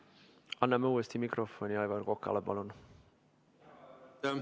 Anname uuesti mikrofoni Aivar Kokale, palun!